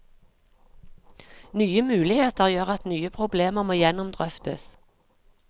Nye muligheter gjør at nye problemer må gjennomdrøftes.